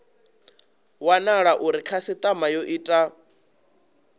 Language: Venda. wanala uri khasitama yo ita